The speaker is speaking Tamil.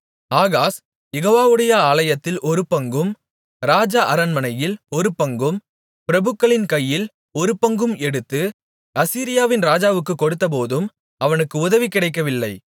ஆகாஸ் யெகோவாவுடைய ஆலயத்தில் ஒருபங்கும் ராஜ அரண்மனையில் ஒருபங்கும் பிரபுக்களின் கையில் ஒருபங்கும் எடுத்து அசீரியாவின் ராஜாவுக்குக் கொடுத்தபோதும் அவனுக்கு உதவி கிடைக்கவில்லை